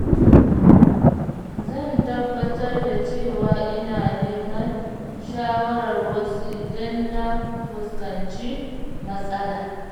Zan tabbatar da cewa ina neman shawarar wasu idan na fuskanci matsala.